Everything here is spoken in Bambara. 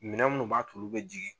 Minɛn minnu b'a t'olu bɛ jigin